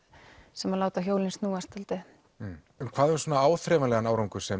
sem láta hjólin snúast dálítið hvað um áþreifanlegan árangur sem